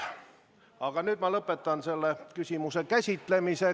Aga nüüd ma lõpetan selle küsimuse käsitlemise.